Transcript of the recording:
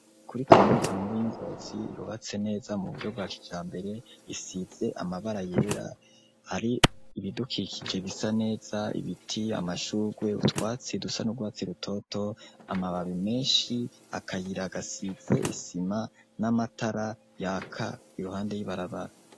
Kuri kaminuza nkuru y'i Ngozi yubatse neza mu buryo bwa kijambere isize amabara yera hari ibidukikije bisa neza ibiti, amashurwe, utwatsi dusa n'urwatsi rutoto, amababi menshi, akayira gasize isima n'amatara yaka iruhande y'ibarabara.